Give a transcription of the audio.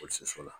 Fo soso la